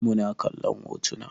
Muna kallon hotuna